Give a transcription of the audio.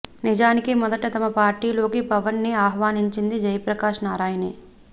నిజానికి మొదట తమ పార్టీలోకి పవన్ ని ఆహ్వానించింది జయప్రకాశ్ నారాయణే